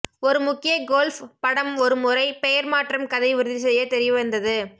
ஒரு முக்கிய கோல்ஃப் படம் ஒரு முறை பெயர் மாற்றம் கதை உறுதி செய்ய தெரியவந்தது